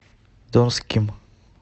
донским